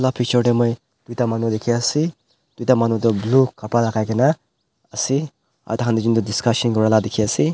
pichor teh moi duta manu dekhi ase duta manu tu blue kapra logai kena ase ada manu tu discussion kora laga dekhi ase.